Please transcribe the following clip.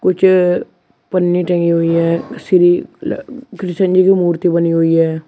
कुछ पन्नी टंगी हुई है श्री कृष्ण जी की मूर्ति बनी हुई है।